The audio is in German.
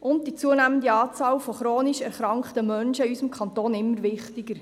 und die zunehmende Zahl chronisch kranker Menschen in unserem Kanton immer wichtiger.